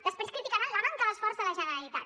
després criticaran la manca d’esforç de la generalitat